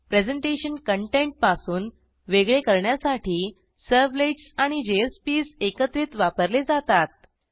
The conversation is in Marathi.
प्रेझेंटेशन कंटेंट पासून वेगळे करण्यासाठी सर्व्हलेट्स आणि जेएसपीएस एकत्रित वापरले जातात